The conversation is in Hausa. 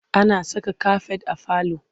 Ana saka kafet a falo.